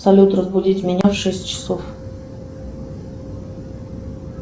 салют разбудить меня в шесть часов